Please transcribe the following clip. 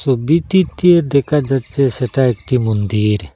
ওবিটিতে দেখা যাচ্ছে সেটা একটি মন্দির।